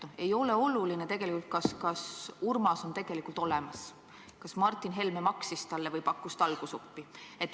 Ei ole oluline, kas Urmas on tegelikult olemas, kas Martin Helme maksis talle või pakkus talgusuppi.